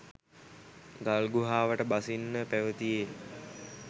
ගල්ගුහාවට බසින්න පැවතියේ